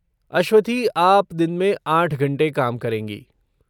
अश्वथी, आप दिन में आठ घंटे काम करेंगी।